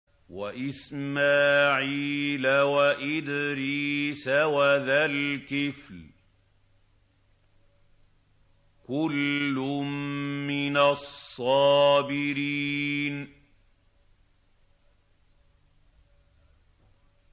وَإِسْمَاعِيلَ وَإِدْرِيسَ وَذَا الْكِفْلِ ۖ كُلٌّ مِّنَ الصَّابِرِينَ